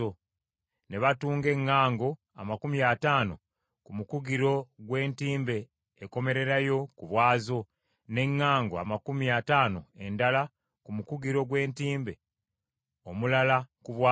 Ne batunga eŋŋango amakumi ataano ku mukugiro gw’entimbe ekomererayo ku bwazo, n’eŋŋango amakumi ataano endala ku mukugiro gw’entimbe omulala ku bwazo.